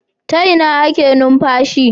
Ta Ina ake numfashi